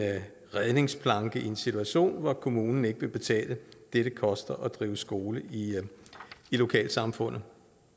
redningsplanke i en situation hvor kommunen ikke vil betale det det koster at drive skole i lokalsamfundet